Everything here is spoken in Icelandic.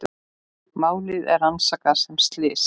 Málið er rannsakað sem slys